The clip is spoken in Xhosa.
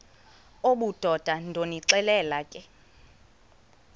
obudoda ndonixelela ke